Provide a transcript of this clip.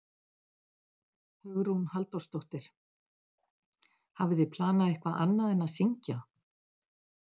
Hugrún Halldórsdóttir: Hafið þið planað eitthvað annað en að syngja?